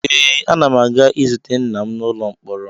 Ee, ana m aga izute nna m n'ụlọ mkpọrọ